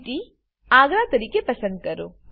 city અગ્ર તરીકે પસંદ કરો